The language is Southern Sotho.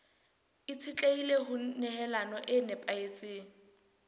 itshetlehile ho nehelano e nepahetseng